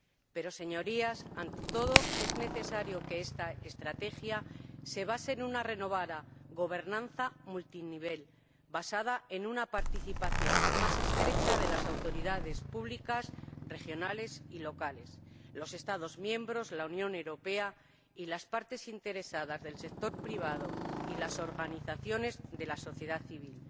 Pero, Señorías, ante todo, es necesario que esta estrategia se funde en una renovada gobernanza multinivel basada en una participación más estrecha de las autoridades públicas, regionales y locales, los Estados miembros, la Unión Europea y las partes interesadas del sector privado y las organizaciones de la sociedad civil,